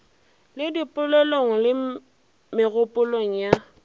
le dipelong le megopolong ya